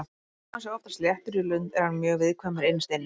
Þó að hann sé oftast léttur í lund er hann mjög viðkvæmur innst inni.